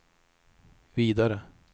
vidare